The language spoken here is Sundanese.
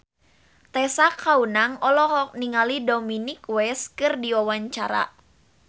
Tessa Kaunang olohok ningali Dominic West keur diwawancara